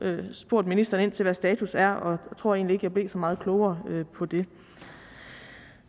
spurgt ministeren ind til hvad status er og jeg tror egentlig jeg blev så meget klogere på det